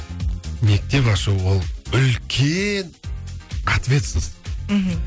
мектеп ашу ол үлкен ответственность мхм